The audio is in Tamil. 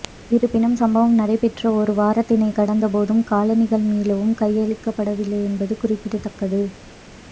இருப்பினும் சம்பவம் நடைபெற்று ஒரு வாரத்தினை கடந்த போதும் காலணிகள் மீளவும் கையளிக்கப் படவில்லை என்பது குறிப்பிடத்தக்கது